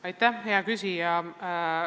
Aitäh, hea küsija!